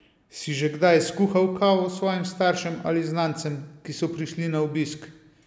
Si že kdaj skuhal kavo svojim staršem ali znancem, ki so prišli na obisk?